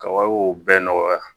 Ka wariw bɛɛ nɔgɔya